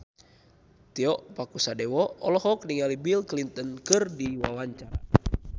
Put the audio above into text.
Tio Pakusadewo olohok ningali Bill Clinton keur diwawancara